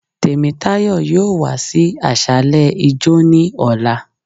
Temítàyọ́ yóò wa sí asàlẹ ijọ́, ni ọla